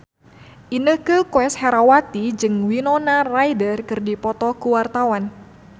Inneke Koesherawati jeung Winona Ryder keur dipoto ku wartawan